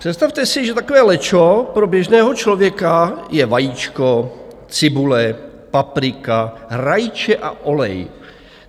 Představte si, že takové lečo pro běžného člověka je vajíčko, cibule, paprika, rajče a olej.